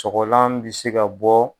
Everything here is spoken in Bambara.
Sɔgɔlan bɛ se ka bɔ.